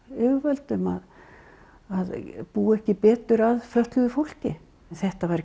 yfirvöldum að búa ekki betur að fötluðu fólki þetta var